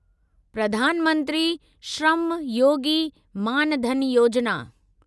प्रधान मंत्री श्रम योगी मान धन योजिना